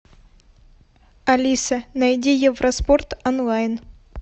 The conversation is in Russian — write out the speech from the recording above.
алиса найди евроспорт онлайн